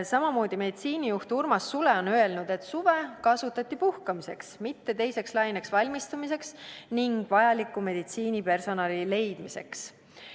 Samamoodi meditsiinijuht Urmas Sule on öelnud, et suve kasutati puhkamiseks, mitte teiseks laineks valmistumiseks ning vajaliku meditsiinipersonali leidmiseks.